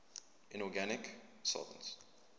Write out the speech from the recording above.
inorganic solvents